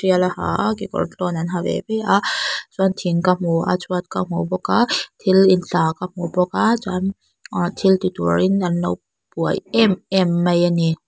bial a ha a kekawr tlâwn an ha ve ve a chuan thing ka hmu a chhuat ka hmu bawk a thil ti tla ka hmu bawk a chuan thil ti tûrin an lo buai êm êm mai a ni.